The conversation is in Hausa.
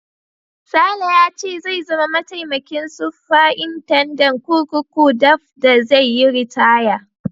Sale ya ce zai zama mataimakin sufritandan kurkuku daf da zai yi ritaya.